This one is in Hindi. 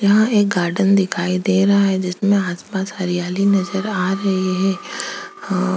यहाँं एक गार्डन दिखाई दे रहा है जिसमें आसपास हरियाली नज़र आ रही है अ -